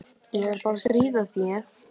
Ég er bara að stríða þér.